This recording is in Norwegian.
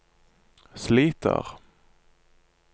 sliter